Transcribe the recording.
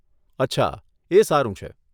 અચ્છા, એ સારું છે.